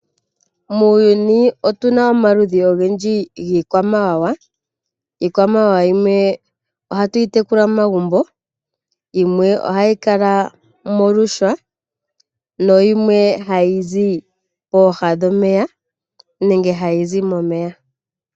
Muuyuni otuna omaludhi ogendji giikwamawawa. Iikwamawawa yimwe ohatu yi tekula momagumbo, yimwe ohayi kala miihwa, nayimwe hayi zi pooha dhomeya nenge hayi zi momeya.